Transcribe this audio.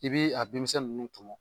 I bi a denmisɛn nunnu tɔmɔ